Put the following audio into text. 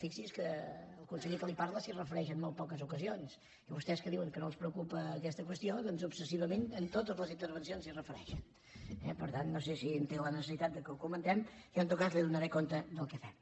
fixi’s que el conseller que li parla s’hi refereix en molt poques ocasions i vostès que diuen que no els preocupa aquesta qüestió doncs obsessivament en totes les intervencions s’hi refereixen eh per tant no sé si en té la necessitat que ho comentem jo en tot cas li donaré compte del que fem